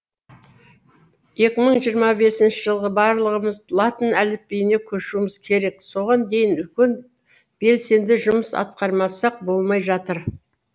екі мың жиырма бесінші жылы барлығымыз латын әліпбиіне көшуіміз керек соған дейін үлкен белсенді жұмыс атқармасақ болмай жатыр